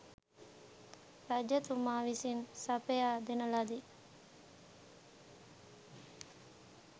රජතුමා විසින් සපයා දෙන ලදී.